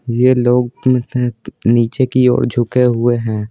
यह लोग नीचे की ओर झुके हुए हैं।